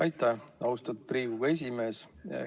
Aitäh, austatud Riigikogu esimees!